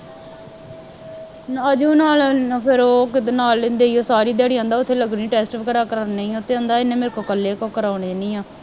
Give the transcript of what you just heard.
ਅਜੂ ਨਾਲ ਨਾ ਫੇਰ ਉਹ ਰੋਕ ਲਾ ਲੈਂਦੇ ਹੈ ਸਾਰੀ ਦਿਹਾੜੀ ਕਹਿੰਦਾ ਉੱਥੇ ਲੱਗਣੀ ਹੈ, ਵਗੈਰਾ ਕਰਾਉਣੇ ਹੈ, ਕਹਿੰਦਾ ਇਹਨੇ ਮੇਰੇ ਕੋੋਲੋਂ ਇਕੱਲੇ ਤੋਂ ਕਰਾ ਲੈਣੀ ਹੈ